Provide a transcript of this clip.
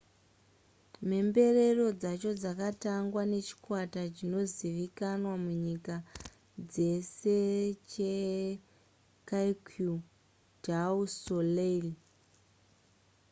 mhemberero dzacho dzakatangwa nechikwata chinozivikanwa munyika dzese checirque du soleil